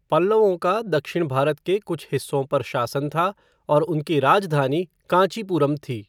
पल्लवों का दक्षिण भारत के कुछ हिस्सों पर शासन था और उनकी राजधानी कांचीपुरम थी।